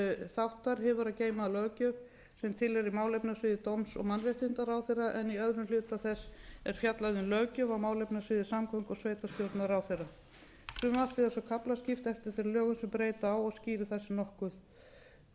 þáttar hefur að geyma löggjöf sem tilheyrir málefnasviði dómsmála og mannréttindaráðherra en í öðrum hluta þess er fjallað um löggjöf á málefnasviði samgöngu og sveitarstjórnarráðherra frumvarpið er svo kaflaskipt eftir þeim lögum sem breyta á og skýrir það sig nokkuð